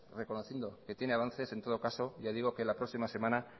reconociendo que tiene avances en todo caso ya digo que la próxima semana